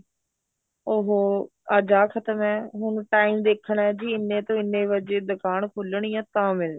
ਉਹ ਅੱਜ ਆਹ ਖਤਮ ਏ ਹੁਣ time ਦੇਖਣਾ ਬੀ ਇੰਨੇ ਤੋਂ ਇੰਨੇ ਵਜੇ ਦੁਕਾਨ ਖੁਲਣੀ ਏ ਤਾਂ ਮਿਲਣਾ